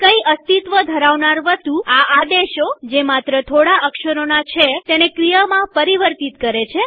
પણ કઈ અસ્તિત્વ ધરાવનાર વસ્તુ આ આદેશોજે માત્ર થોડા અક્ષરોના છે તેને ક્રિયામાં પરિવર્તિત કરે છે